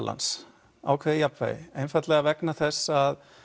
ákveðið jafnvægi einfaldlega vegna þess að